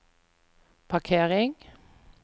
parkering